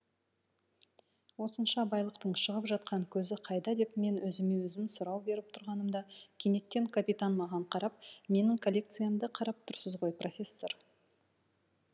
осынша байлықтың шығып жатқан көзі қайда деп мен өзіме өзім сұрау беріп тұрғанымда кенеттен капитан маған қарап менің коллекциямды қарап тұрсыз ғой профессор